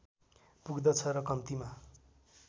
पुग्दछ र कम्तीमा